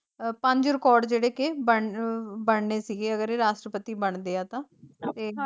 ਪੰਜ ਰਿਕੋਰਡ ਜੇੜੇ ਕੇ ਬਣ ਬਣਨੇ ਸੀਗੇ ਅਗਰ ਇਹ ਰਾਸ਼ਟਰਪਤੀ ਬਣਦੇ ਆ ਤਾਂ ।